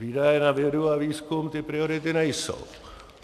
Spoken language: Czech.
Výdaje na vědu a výzkum ty priority nejsou.